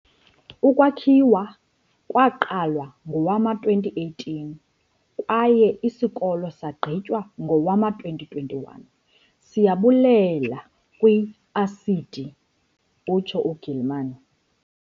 "Ukwakhiwa kwaqala ngowama-2018 kwaye isikolo sagqitywa ngowama-2021, siyabulela kwi-ASIDI," utsho u-Gilman.